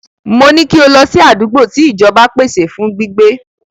Mo ní kí o lọ sí àdúgbò tí ìjọba pèsè fún gbígbé.